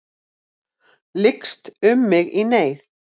Lykst um mig í neyð.